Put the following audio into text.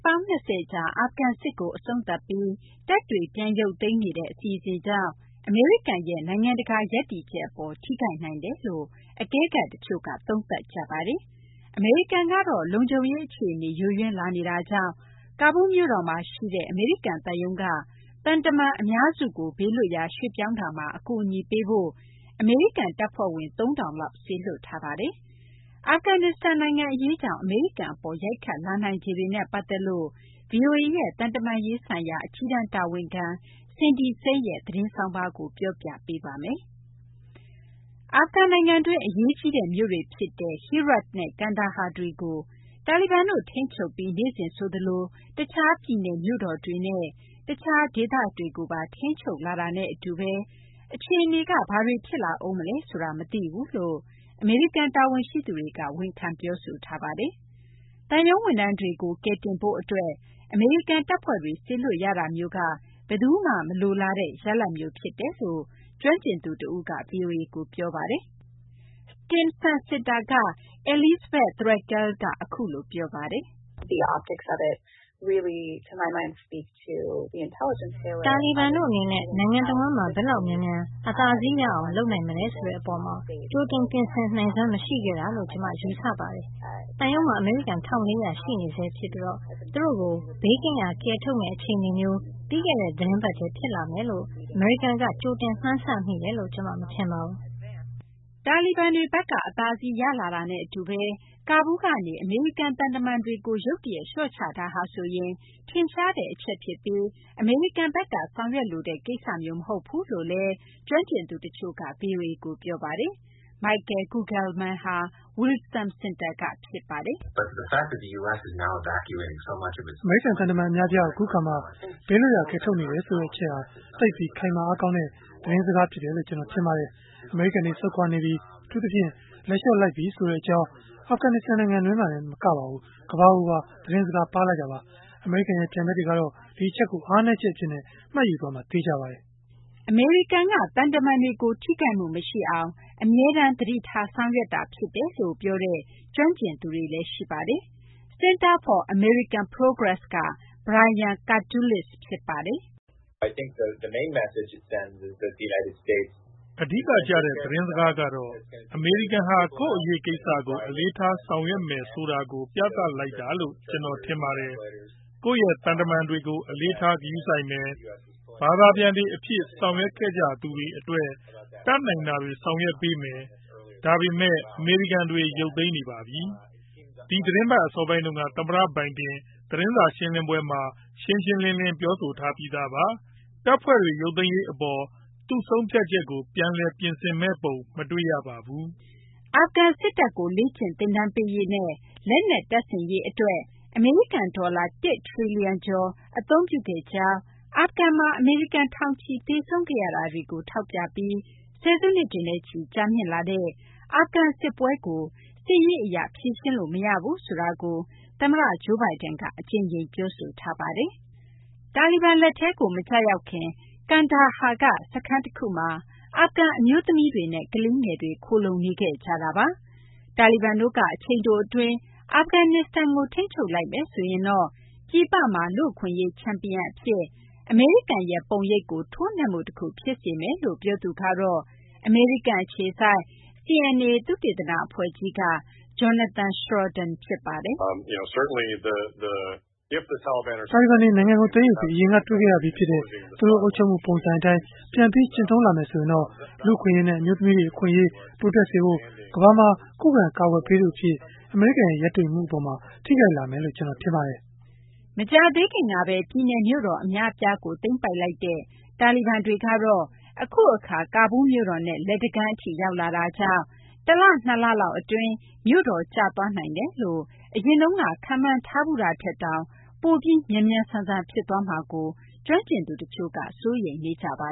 ပေါင်း ၂၀ ကြာ အာဖဂန်စစ်ကို အဆုံးသတ်ပြီး တပ်တွေပြန်ရုပ်သိမ်းနေတဲ့ အစီအစဉ်ကြောင့် အမေရိကန်ရဲ့ နိုင်ငံတကာ ရပ်တည်ချက်အပေါ် ထိခိုက်နိုင်တယ်လို့ အကဲခတ်တချို့က သုံးသပ်နေကြပါတယ်။ အမေရိကန်ကတော့ လုံခြုံရေး အခြေအနေ ယိုယွင်းလာနေတာကြောင့် ကာဘူးမြို့တော်မှာရှိတဲ့ အမေရိကန်သံရုံးက သံတမန် အများစုကို ဘေးလွတ်ရာ ရွှေ့ပြောင်းရာမှာ အကူအညီပေးဖို့ အမေရိကန်တပ်ဖွဲ့ဝင် ၃,၀၀၀ လောက် စေလွှတ်ထားပါတယ်။ အာဖဂနစ္စတန်နိုင်ငံအရေးကြောင့် အမေရိကန်အပေါ် ရိုက်ခတ်လာနိုင်ခြေတွေနဲ့ ပတ်သက်လို့ ဗွီအိုအေရဲ့ သံတမန်ရေးဆိုင်ရာ အကြီးတန်း တာဝန်ခံ Cindy Saine ရဲ့ သတင်းဆောင်းပါးကို မသိင်္ဂ ီထိုက် ပြောပြပေးပါမယ်။ အာဖဂန်နိုင်ငံတွင်း အရေးကြီးတဲ့ မြို့တွေ ဖြစ်တဲ့ Herat နဲ့ ကန်ဒါဟာ တွေကို တာလီဘန်တို့ ထိန်းချုပ်ပြီး နေ့စဉ် ဆိုသလို တခြား ပြည်နယ် မြို့တော်တွေနဲ့ တခြား ဒေသတွေ ကိုပါ ထိန်းချုပ်လာတာနဲ့ အတူဘဲ အခြေအနေက ဘာတွေ ဖြစ်လာဦးမလဲ ဆိုတာ မသိဘူးလို့ အမေရိကန် တာဝန်ရှိသူတွေက ဝန်ခံ ပြောဆိုထားပါတယ်။ သံရုံးဝန်ထမ်းတွေကို ကယ်တင်ဖို့ အတွက် အမေရိကန်က တပ်ဖွဲ့တွေ စေလွှတ်ရတာမျိုးက ဘယ်သူမှ မလိုလားတဲ့ ရလဒ်မျိုး ဖြစ်တယ်လို့ ကျွမ်းကျင်သူ တဦးက ဗွီအိုအေကို ပြောပါတယ်။ Stimson Center က Elizabeth Threlkeld က အခုလို ပြောပါတယ်။ " တာလီဘန်တို့ အနေနဲ့ နိုင်ငံတဝန်းမှာ ဘယ်လောက် မြန်မြန် အသာစီးရအောင် လုပ်နိုင်မလဲ ဆိုတဲ့ အပေါ်မှာ ကြိုတင်ပြင်ဆင် နိုင်စွမ်း မရှိခဲ့တာလို့ ကျမ ယူဆပါတယ်။ သံရုံးမှာ အမေရီကန် ၁,၄၀၀ ရှိနေဆဲ ဖြစ်ပြီး သူတို့ကို ဘေးကင်းရာ ကယ်ထုတ်ရမယ့် အခြေအနေမျိုး ပြီးခဲ့တဲ့ သီတင်းပတ်ထဲ ဖြစ်လာမယ်လို့ အမေရိကန်က ကြိုတင်မှန်းဆမိတယ်လို့ ကျမ မထင်ပါဘူး။" တာလီဘန်တွေ ဘက်က အသာစီး ရလာတာနဲ့ အတူဘဲ ကာဘူးလ်းကနေ အမေရိကန် သံတမန်တွေကို ရုတ်တရက် လျှော့ချတာဟာဆိုရင် ထင်ရှားတဲ့ အချက် ဖြစ်ပြီး အမေရိကန်ဘက်က ဆောင်ရွက်လိုတဲ့ ကိစ္စမျိုး မဟုတ်ဘူးလို့လည်း ကျွမ်းကျင်သူ တချို့က ဗွီအိုအေကို ပြောပါတယ်။ Michael Kugelman ဟာ Wilson Center က ဖြစ်ပါတယ်။ " အမေရိကန် သံတမန် အများအပြားကို အခု အခါမှာ ဘေးလွတ်ရာ ကယ်ထုတ်နေတဲ့ အချက်ဟာဆိုရင် သိပ်ပြီး ခိုင်မာ အားကောင်းတဲ့ သတင်းစကားမျိုး ဖြစ်တယ်လို့ ကျနော် ထင်ပါတယ်။ အမေရိကန်တို့ ဆုတ်ခွာနေပြီ အထူးသဖြင့် လက်လျှော့လိုက်ပြီ ဆိုတဲ့ အကြောင်းကို အာဖဂန်နစ္စတန် နိုင်ငံတွင်းမှာတင် မဟုတ်ပါဘူး ကမ ္ဘာကိုပါ ပေးလိုက်တာပါ။ အမေရိကန်ရဲ့ ပြိုင်ဘက်ကတွေက ဒီအချက်ကို အားနည်းချက် အဖြစ် မှတ်ယူသွားမှာက သေချာပါတယ်။ " အမေရိကန်က သံတမန်တွေကို ထိခိုက်မှု မရှိအောင် အမေရိကန်ဘက်က အမြဲ သတိထားဆောင်ရွက်နေတာ ဖြစ်တယ်လို့လည်း ပြောတဲ့ ကျွမ်းကျင်သူတွေလည်း ရှိပါတယ်။ Center for American Progress က Brian Katulis ဖြစ်ပါတယ်။ " အဓိကကျတဲ့ သတင်းစကားကတော့ အမေရိကန်ဟာ ကိုယ့်အရေးကိစ္စကို အလေးထား ဆောင်ရွက်မယ်ဆိုတာကို ပြသလိုက်တာလို့ ကျနော် ထင်ပါတယ်။ ကိုယ့်ရဲ့ သံတမန်တွေကို အလေးထား ဂရုစိုက်မယ်။ ဘာသာပြန်တွေ အဖြစ် ဆောင်ရွက်ခဲ့ကြသူတွေ အတွက် တတ်နိုင်တာတွေ ဆောင်ရွက်ပေးမယ်။ ဒါပေမယ့် အမေရိကန်တွေ ရုပ်သိမ်းနေပါပြီ။ ဒီသီတင်းပတ် အစောပိုင်းတုန်းက သမ္မတ Biden သတင်းစာ ရှင်းလင်းပွဲမှာ ရှင်းရှင်းလင်းလင်း ပြောဆိုထားပြီးသားပါ။ တပ်ဖွဲ့တွေ ရုပ်သိမ်းရေး အပေါ် သူ့ဆုံးဖြတ်ချက်ကို ပြန်လည် ပြင်ဆင်မယ့် ပုံ မတွေ့ရပါဘူး။" အာဖဂန် စစ်တပ်ကို လေ့ကျင့် သင်တန်းပေးရေးနဲ့ လက်နက် တပ်ဆင်ရေး အတွက် အမေရိကန် ဒေါ်လာ ၁ ထရီလီယံကျော် အမေရိကန်က အသုံးပြုခဲ့ကြောင်း၊ အာဖဂန်မှာ အမေရိကန် ထောင်ချီ သေဆုံးခဲ့ရတာတွေကို ထောက်ပြပြီး ဆယ်စုနှစ်တွေနဲ့ချီ ကြာမြင့်လာတဲ့ အာဖဂန် စစ်ပွဲကို စစ်ရေးအရ ဖြေရှင်းလို့ မရဘူးဆိုတာကို သမ္မတ Joe Biden က အကြိမ်ကြိမ် ပြောဆိုထားပါတယ်။ တာလီဘန် လက်ထဲကို မကျရောက်ခင်က ကန်ဒါဟာက စခန်းတခုမှာ အာဖဂန် အမျိုးသမီးတွေနဲ့ ကလေးငယ်တွေ ခိုလှုံနေခဲ့ကြတာပါ။ တာလီဘန်တို့က အချိန်တို အတွင်း ထိန်းချုပ်လိုက်မယ်ဆိုရင်တော့ ပြည်ပမှာ လူ့အခွင့်အရေး ချန်ပီယံ အဖြစ် အမေရိကန်ရဲ့ ပုံရိပ်ကို ထိုးနှက်မှု တခု ဖြစ်စေမယ်လို့ ပြောသူကတော့ အမေရိကန်အခြေစိုက် CNA သုတေသန အဖွဲ့ကြီးက Jonathan Schroden ဖြစ်ပါတယ်။ " တာလီဘန်တို့က နိုင်ငံကို သိမ်းယူပြီး အရင်က တွေ့ခဲ့ရပြီး ဖြစ်တဲ့ သူတို့ အုပ်ချုပ်မှု ပုံစံ အတိုင်း ပြန်ပြီး ကျင့်သုံးလာမယ်ဆိုရင်တော့ လူ့အခွင့်အရေးနဲ့ အမျိုးသမီးတွေရဲ့ အခွင့်အရေး တိုးတက်စေရေးနဲ့ ကမ ္ဘာမှာ ခုခံ ကာကွယ်ပေးသူ အဖြစ် အမေရိကန်ရဲ့ ရည်တည်မှု အပေါ်မှာ ထိခိုက်စေမယ်လို့ ကျနော် ထင်ပါတယ်။" မကြသေးခင်မှာပဲ ပြည်နယ်မြို့တော် အများအပြားကို သိမ်းပိုက်လိုက်တဲ့ တာလီဘန်တွေကတော့ အခုအခါ ကာဘူးမြို့တော်နဲ့ လက်တကမ်းအထိ ရောက်လာတာကြောင့် ၁ လ ၂ လ လောက်အတွင်း မြို့တော်ကျသွားနိုင်တယ်လို့ အရင်တုန်းက ခန့်မှန်းထားဘူးတာထက်တောင် ပိုပြီးမြန်မြန်ဆန်ဆန် ဖြစ်သွားမှာကို ကျွမ်းကျင်သူ တချို့က စိုးရိမ်နေကြပါ